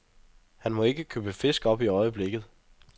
Han må ikke købe fisk op i øjeblikket.